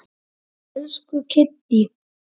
Jóhanna Fjóla.